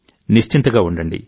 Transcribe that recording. నిశ్చింతగా ఉండండి